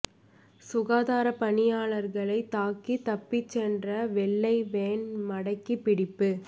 சுகாதாரப் பணியாளர்களைத் தாக்கி தப்பிச் சென்ற வெள்ளைவேன் மடக்கி பிடிப்பு